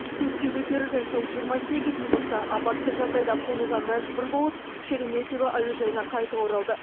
көкке көтерілген соң жиырма сегіз минутта апатты жағдайда қонуға мәжбүр болып шереметьево әуежайына қайта оралды